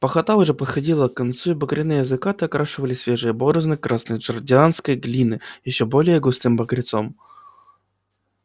пахота уже подходила к концу и багряные закаты окрашивали свежие борозды красной джорджианской глины ещё более густым багрецом